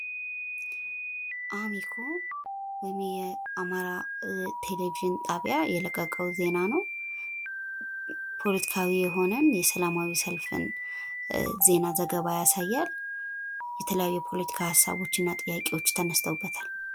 አሚኮ ወይም የአማራ ቴሌቪዥን ጣቢያ የለቀቀው ዜና ነው። ፖለቲካዊ የሆነን ሰላማዊ ሰልፍን ዜና ዘገባ ያሳያል። የተለያዩ ፖለቲካ ሀሳቦች እና ጥያቄዎች ተነስተውበታል።